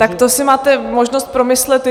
Tak to si máte možnost promyslet...